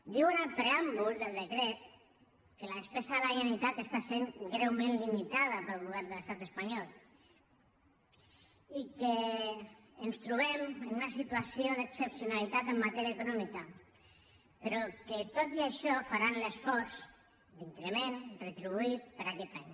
diu en el preàmbul del decret que la despesa de la generalitat està sent greument limitada pel govern de l’estat espanyol i que ens trobem en una situació d’excepcionalitat en matèria econòmica però que tot i això faran l’esforç d’increment retribuït per a aquest any